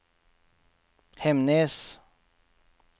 Hemnes